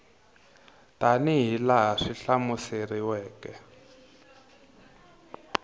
tana hi laha swi hlamuseriweke